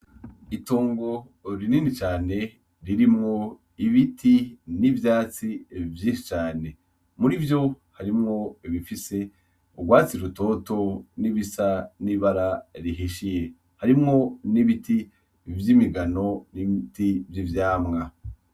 Itongo rinini cane ririmwo ibiti nivyatsi vyinshi cane murivyo harimwo ibifise urwatsi rutoto nibisa n'ibara rihishiye harimwo n'ibiti vy'imigano n'ibiti vy'ivyamwa.